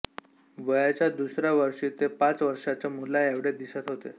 वयाच्या दुसऱ्या वर्षी ते पाच वर्षांच्या मुलाएवढे दिसत होते